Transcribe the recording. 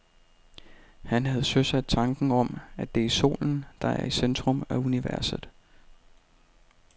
Han havde søsat tanken om, at det er solen, der er i centrum af universet.